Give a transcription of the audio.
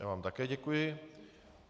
Já vám také děkuji.